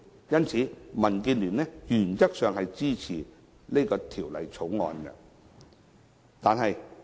因此，民建聯原則上支持《條例草案》。